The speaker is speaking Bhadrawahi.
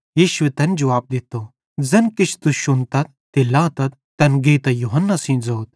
यीशुए तैन जुवाब दित्तो ज़ैन किछ तुस शुन्तन ते लातथ तैन गेइतां यूहन्ना सेइं ज़ोथ